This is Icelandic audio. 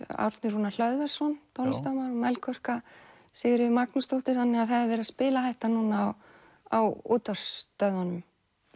Árni Rúnar Hlöðversson tónlistarmaður Melkorka Sigríður Magnúsdóttir þannig að það er verið að spila þetta núna á útvarpsstöðvunum